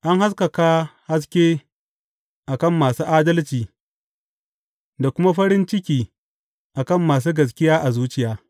An haskaka haske a kan masu adalci da kuma farin ciki a kan masu gaskiya a zuciya.